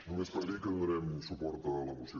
només per dir que donarem suport a la moció